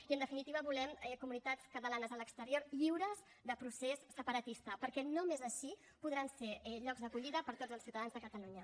i en definitiva volem comunitats catalanes a l’exterior lliures de procés separatista perquè només així podran ser llocs d’acollida per a tots els ciutadans de catalunya